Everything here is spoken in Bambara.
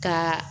Ka